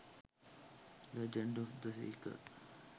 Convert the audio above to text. legends of the seeker